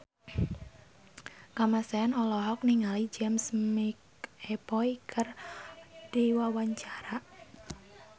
Kamasean olohok ningali James McAvoy keur diwawancara